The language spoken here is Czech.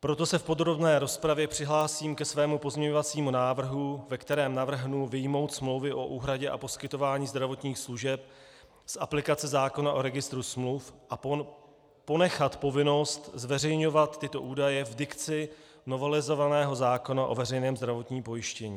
Proto se v podrobné rozpravě přihlásím ke svému pozměňovacímu návrhu, ve kterém navrhnu vyjmout smlouvy o úhradě a poskytování zdravotních služeb z aplikace zákona o Registru smluv a ponechat povinnost zveřejňovat tyto údaje v dikci novelizovaného zákona o veřejném zdravotním pojištění.